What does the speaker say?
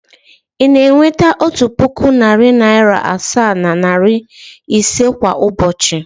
Ị na-enweta otu puku, narị naịra asaa na naịra ise kwa ụbọchị?